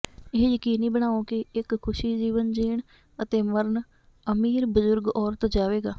ਇਹ ਯਕੀਨੀ ਬਣਾਓ ਕਿ ਇੱਕ ਖੁਸ਼ ਜੀਵਨ ਜੀਣ ਅਤੇ ਮਰਨ ਅਮੀਰ ਬਜ਼ੁਰਗ ਔਰਤ ਜਾਵੇਗਾ